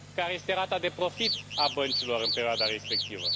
Care este rata de profit a băncilor în perioada respectivă?